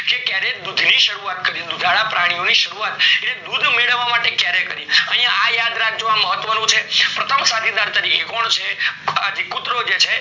જે ક્યારે દૂધ ની શારુવત કરી દુધાળા પ્રાણીઓની શરૂવાત એટલે દૂધ મેળવવા માટે ક્યારે કરી યા આ યાદ રાખજો અ મહત્વ નું છે પ્રથમ સાથીદાર તરીકે કોણ છે કુતરો જે છે